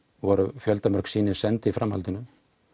voru fjöldamörg sýni send í framhaldinu